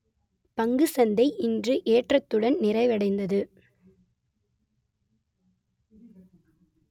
பங்குசந்தை இன்று ஏற்றத்துடன் நிறைவடைந்தது